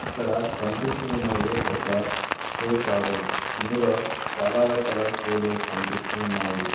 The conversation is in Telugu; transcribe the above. ఇక్కడ కనిపిస్తూ ఉన్నది ఒక షూ షాపు ఇందులో చాలా రకాల షూలు కనిపిస్తూ ఉన్నాయి.